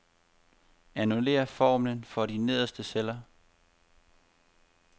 Annullér formlen for de nederste celler.